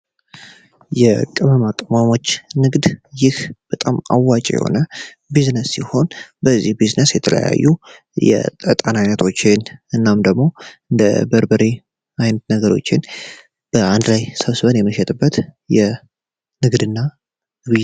የቅመማቅመሞች ንግድ ይህ በጣም አዋቂ የሆነ ቢዝነስ ሲሆን በዚህ ቢዝነስ የተለያዩ የተጠናቶችን እናም ደግሞ እንደ በበርበሬ ነገሮችን በአንድ ላይ የመሸጥበት የ ንግድና